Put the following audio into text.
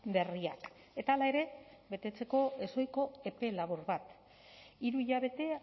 berriak eta hala ere betetzeko ezohiko epe labur bat hiru hilabete